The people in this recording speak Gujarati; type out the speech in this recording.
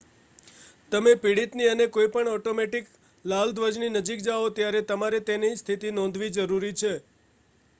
તમે પીડિતની અને કોઈ પણ ઑટોમૅટિક લાલ ધ્વજની નજીક જાઓ ત્યારે તમારે તેની સ્થિતિ નોંધવી જરૂરી છે